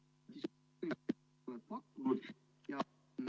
Paul!